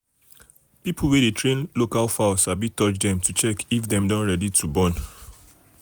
people wey dey train local fowl sabi touch dem to check if dem don ready to born.